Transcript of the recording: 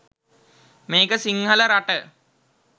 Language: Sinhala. මේක සිංහල රට